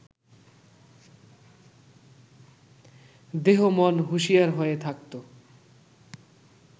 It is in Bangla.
দেহ-মন হুঁশিয়ার হয়ে থাকত